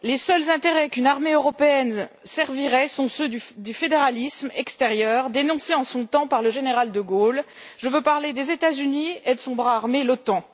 Les seuls intérêts qu'une armée européenne servirait sont ceux du fédéralisme extérieur, dénoncé en son temps par le général de Gaulle, je veux parler des États Unis et de son bras armé, l'Otan.